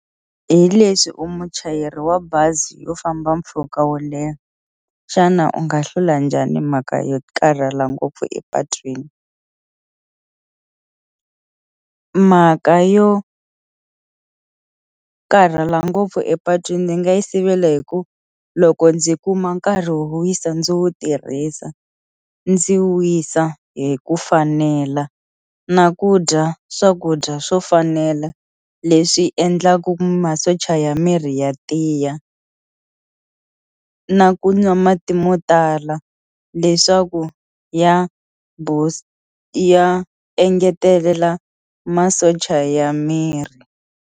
Hileswi u muchayeri wa bazi yo famba mpfhuka wo leha xana u nga hlula njhani mhaka yo karhala ngopfu epatwini mhaka yo karhala ngopfu epatwini ndzi nga yi sivela hi ku loko ndzi kuma nkarhi wo wisa ndzi wu tirhisa ndzi wisa hi ku fanela na ku dya swakudya swo fanela leswi endlaku masocha ya miri ya tiya na ku nwa mati mo tala leswaku ya ya engetelela masocha ya miri.